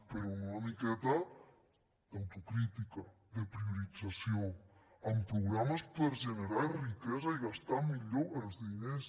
però amb una miqueta d’autocrítica de priorització amb programes per generar riquesa i gastar millor els diners